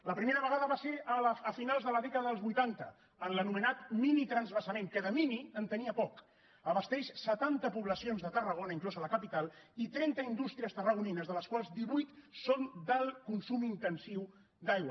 la primera vegada va ser a finals de la dècada dels vuitanta en l’anomenat minitransvasament que de mini en tenia poc abasta setanta poblacions de tarragona inclosa la capital i trenta indústries tarragonines de les quals divuit son del consum intensiu d’aigua